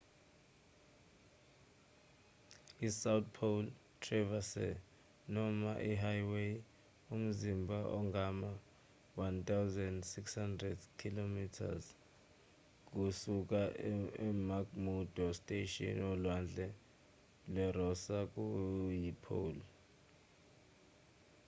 isouth pole traverse noma ihighway umzila ongama-1600 kma kusuka emcmurdo station olwandle lwerosa kuyipole